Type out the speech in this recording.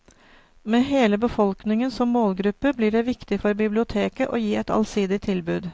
Med hele befolkningen som målgruppe, blir det viktig for biblioteket å gi et allsidig tilbud.